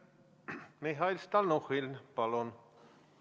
Mihhail Stalnuhhin, palun!